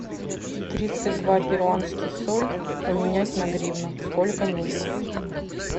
тридцать два перуанский соль поменять на гривну сколько нужно